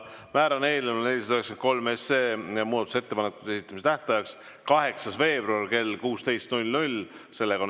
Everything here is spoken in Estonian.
Määran eelnõu 493 muudatusettepanekute esitamise tähtajaks 8. veebruari kell 16.